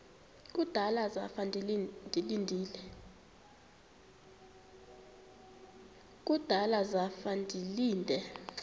kudala zafa ndilinde